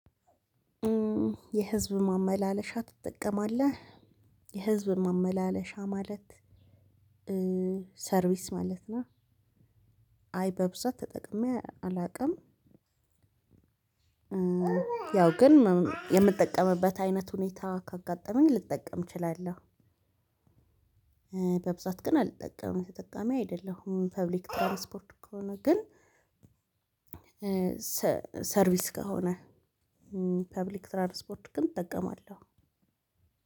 የህዝብ ማመላለሻ ትጠቀማለህ የህዝብ ማመላለሻ ማለት ሰርቪስ ማለት ነው? አይ በብዛት ተጠቅሜ አላውቅም። ያው ግን የምጠቀምበት አይነት ሁኔታ ካጋጠመኝ ልጠቀም እችላለሁ። በብዛት ግን አልጠቀምም ተጠቃሚ አይደለሁም። የህዝብ መጓጓዣ ከሆነ ግን ሰርቪስ ከሆነ ፐብሊክ ትራንስፖርት ግን እጠቀማለሁ።